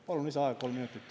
Palun lisaaega kolm minutit.